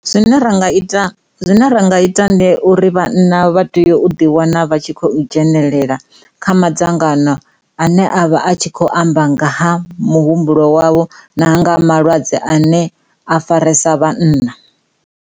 Zwine ra nga ita, zwine ra nga ita ndi uri vhanna vha tea u ḓi wana vha tshi khou dzhenelela kha madzangano ane avha a tshi khou amba nga ha muhumbulo wavho na nga malwadze ane a farisa vhanna.